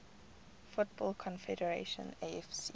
football conference afc